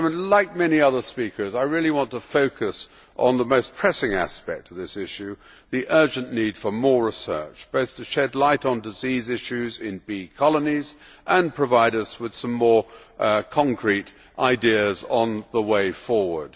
Like many other speakers, I really want to focus on the most pressing aspect of this issue, the urgent need for more research both to shed light on disease issues in bee colonies and to provide us with some more concrete ideas on the way forward.